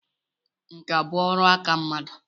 Nkà bụ ọrụ aka mmadụ.